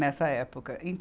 Nessa época. e